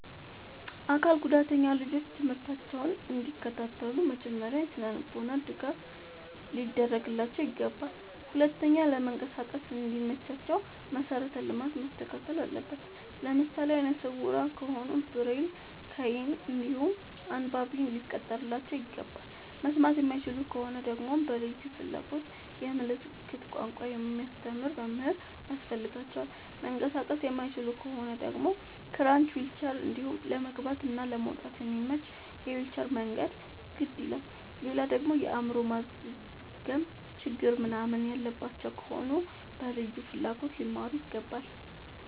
አካል ጉዳተኛ ልጆች ትምህርታቸውን እንዲ ከታተሉ መጀመሪያ የስነልቦና ድገፍ ሊደረግላቸው ይገባል። ሁለተኛ ለመንቀሳቀስ እንዲ መቻቸው መሰረተ ልማት መስተካከል አለበት። ለምሳሌ አይነስውራ ከሆኑ ብሬል ከይን እንዲሁም አንባቢ ሊቀጠርላቸው ይገባል። መስማት የማይችሉ ከሆኑ ደግመሞ በልዩ ፍላጎት የምልክት ቋንቋ የሚያስተምር መምህር ያስፈልጋቸዋል። መንቀሳቀስ የማይችሉ ከሆኑ ደግሞ ክራች ዊልቸር እንዲሁም ለመግባት እና ለመውጣት የሚያመች የዊልቸር መንገድ ግድ ይላላል። ሌላደግሞ የአይምሮ ማዝገም ችግር ምንናምን ያለባቸው ከሆኑ በልዩ ፍላጎት ሊማሩ ይገባል።